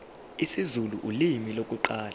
isizulu ulimi lokuqala